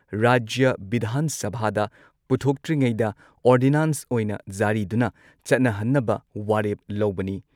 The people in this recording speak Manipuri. ꯔꯥꯖ꯭ꯌ ꯚꯤꯙꯥꯟ ꯁꯚꯥꯗ ꯄꯨꯊꯣꯛꯇ꯭ꯔꯤꯉꯩꯗ ꯑꯣꯔꯗꯤꯅꯥꯟꯁ ꯑꯣꯏꯅ ꯖꯥꯔꯤꯗꯨꯅ ꯆꯠꯅꯍꯟꯅꯕ ꯋꯥꯔꯦꯞ ꯂꯧꯕꯅꯤ ꯫